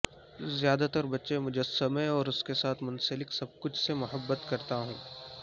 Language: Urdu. زیادہ تر بچے مجسمہ اور اس کے ساتھ منسلک سب کچھ سے محبت کرتا ہوں